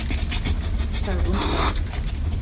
sagði hún örg.